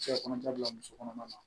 Cɛ kɔnɔja bila muso kɔnɔma na